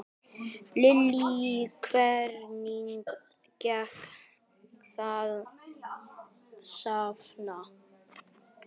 Lillý: Hvernig gekk að safna?